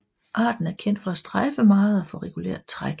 Arten er kendt for at strejfe meget og for regulært træk